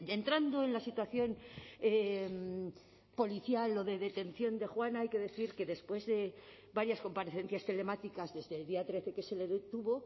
entrando en la situación policial o de detención de juana hay que decir que después de varias comparecencias telemáticas desde el día trece que se le detuvo